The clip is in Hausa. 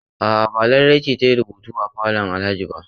A'a, ba Larai ce za ta yi rubutu a falon Alhajin ba